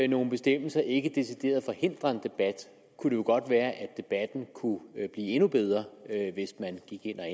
nogle bestemmelser ikke decideret forhindrer en debat kunne det jo godt være at debatten kunne blive endnu bedre hvis man gik ind og